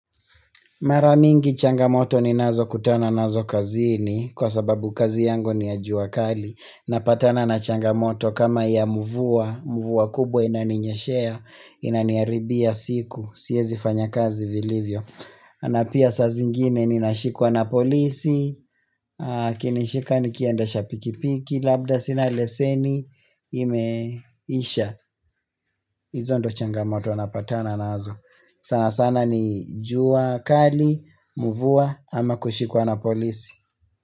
Maramingi changamoto ni nazo kutana nazo kazini kwa sababu kazi yangu ni ya jua kali. Napatana na changamoto kama ya mvua, mvua kubwa inani nyeshea, inaniharibia siku, siwezi fanya kazi vilivyo. Na pia saa zingine ninashikwa na polisi, akinishika nikiendasha pikipiki, labda sina leseni imeisha. Hizo ndo changamoto napatana nazo sana sana ni jua kali, mvua ama kushikwa na polisi.